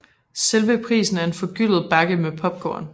Selve prisen er en forgyldet bakke med popcorn